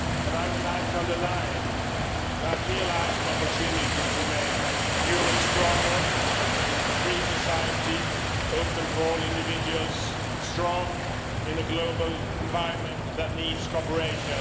I would like to underline that here lies an opportunity to make Europe stronger a free society open for all individuals, strong in a global environment that needs cooperation.